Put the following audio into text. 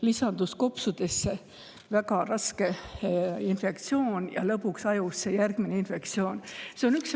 Kopsudesse lisandus väga raske infektsioon ja lõpuks järgmine infektsioon ajusse.